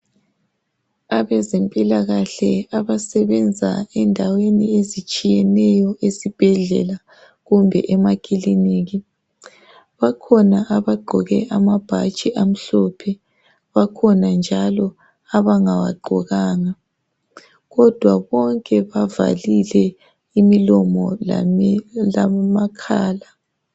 Abezempilakahle abasebenza endaweni ezitshiyeneyo esibhedlela kumbe emakiliniki bakhona abagqoke amabhatshi amhlophe .Bakhona njalo abangawagqokanga .Kodwa bonke bavalile imlomo lamakhala .